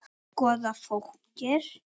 Að skoða fólkið.